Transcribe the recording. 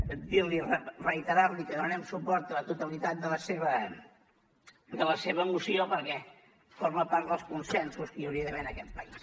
dirli reiterar li que donarem suport a la totalitat de la seva moció perquè forma part dels consensos que hi hauria d’haver en aquest país